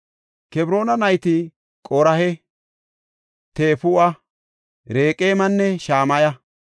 Kebroona nayti Qoraha, Tefuwa, Reqeemanne Shamaya.